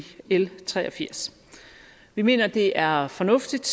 l tre og firs vi mener det er fornuftigt